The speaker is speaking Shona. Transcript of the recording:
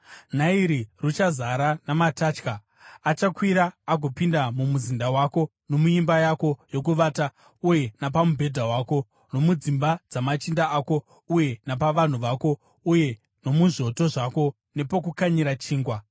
Nairi ruchazara namatatya. Achakwira agopinda mumuzinda wako nomuimba yako yokuvata uye napamubhedha wako, nomudzimba dzamachinda ako uye napavanhu vako uye nomuzvoto zvako nepokukanyira chingwa.